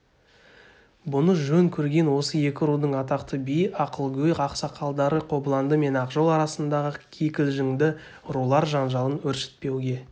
бұны жөн көрген осы екі рудың атақты биі ақылгөй ақсақалдары қобыланды мен ақжол арасындағы кикілжіңді рулар жанжалын өршітпеуге